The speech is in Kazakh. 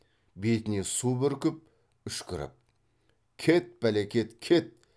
бетіне су бүркіп үшкіріп кет бәлекет кет